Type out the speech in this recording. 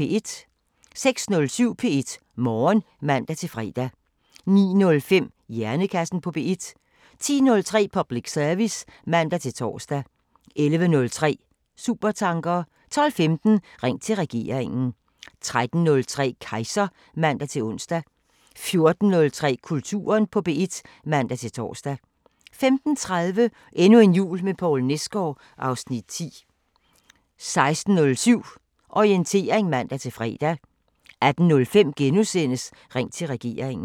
06:07: P1 Morgen (man-fre) 09:05: Hjernekassen på P1 10:03: Public service (man-tor) 11:03: Supertanker 12:15: Ring til regeringen 13:03: Kejser (man-ons) 14:03: Kulturen på P1 (man-tor) 15:30: Endnu en jul med Poul Nesgaard (Afs. 10) 16:07: Orientering (man-fre) 18:05: Ring til regeringen *